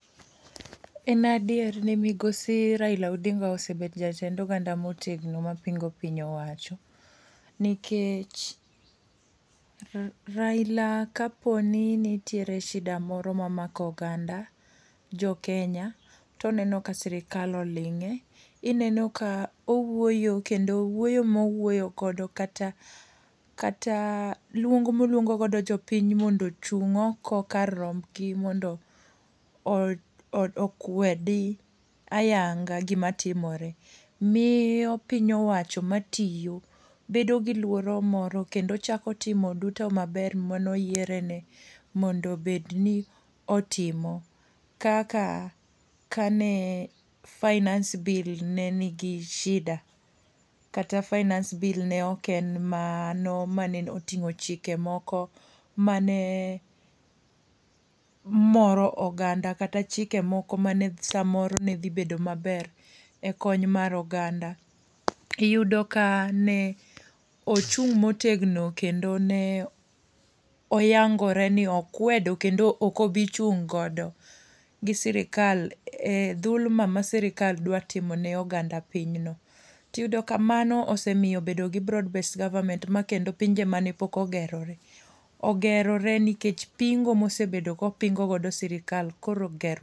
En adier ni migosi Raila Odinga osebet jatend oganda motegno mapingo piny owacho. Nikech Raila ka poni nitiere shida moro ma mako oganda jo Kenya toneno ka sirikal oling'e. Ineno ka owuoyo kendo wuoyo mowuyo godo kata kata luong moluongo godo jopiny mondo ochung' oko kar rombgi mondo okwedi ayanga gima timore. Miyo piny owacho ma tiyo bedo gi luoro moro kendo chako timo duto maber manoyiere ne mondo bed ni otimo kaka ka ne Finance Bill ne nigi shida. Kata Finance Bill ne oken ma no mane oting'o chike moko mane moro oganda kata chike moko mane samoro ne dhi bedo maber e kony mar oganda. Iyudo ka ne ochung' motegno kendo ne oyangore ni okwedo kendo okobi chung' godo. Gi sirikal dhulma ma sirikal dwa timo ne oganda piny no. Tiyudo ka mano osemiyo bedo gi broadbased government ma kendo pinje mane pok ogerore ogerore nikech pingo mosebedo kopingo godo sirikal koro ger.